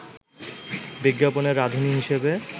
বিজ্ঞাপনে রাঁধুনী হিসেবে